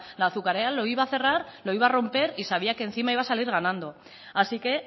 azucarera lo iba a cerrar lo iba a romper y sabía que encima iba a salir ganando así que